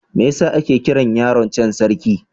Me yasa ake kiran yaron can Sarki?